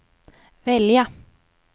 välja